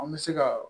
An bɛ se ka